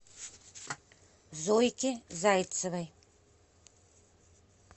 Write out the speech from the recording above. зойки зайцевой